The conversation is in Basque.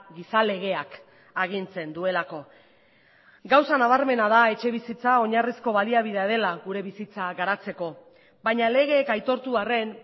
giza legeak agintzen duelako gauza nabarmena da etxebizitza oinarrizko baliabidea dela gure bizitza garatzeko baina legeek aitortu arren